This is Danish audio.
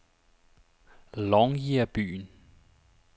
Longyear-byen